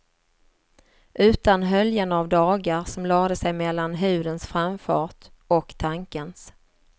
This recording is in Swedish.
Utan höljen av dagar som lade sig mellan hudens framfart, och tankens.